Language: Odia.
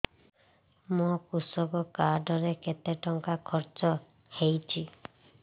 ମୋ କୃଷକ କାର୍ଡ ରେ କେତେ ଟଙ୍କା ଖର୍ଚ୍ଚ ହେଇଚି